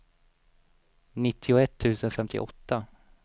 nittioett tusen femtioåtta